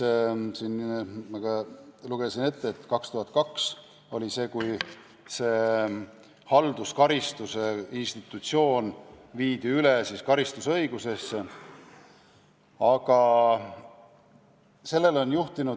Aga siin ma ka lugesin ette, et 2002 oli see, kui Eestis viidi halduskaristuse institutsioon üle karistusõigusesse.